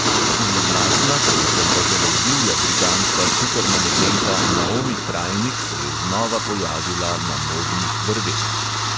Zloglasna, predvsem pa zelo divja britanska supermanekenka naomi krajnik se je znova pojavila na modnih brveh.